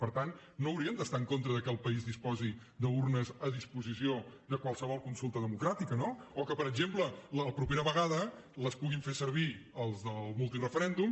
per tant no haurien d’estar en contra del fet que el país disposi d’urnes a disposició de qualsevol consulta democràtica o del fet que per exemple la propera vegada les puguin fer servir els del multireferèndum